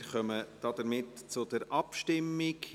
Wir kommen zur Abstimmung.